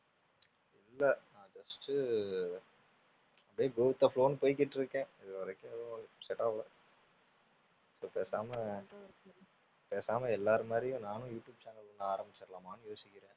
இல்லை. நான் just உ அப்படியே go with the flow ன்னு போயிக்கிட்டு இருக்கேன் இதுவரைக்கும் ஏதும் set ஆகலை. பேசாம அஹ் பேசாம எல்லாரு மாதிரியும் நானும் யூ ட்யூப் channel ஒண்ணு ஆரமிச்சிடலாமான்னு யோசிக்கிறேன்.